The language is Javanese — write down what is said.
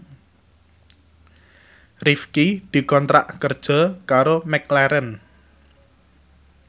Rifqi dikontrak kerja karo McLarren